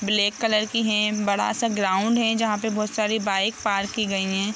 Black colour की है बड़ा सा ग्राउंड है जहाँ बहुत सारी बाइक पार्क गई है।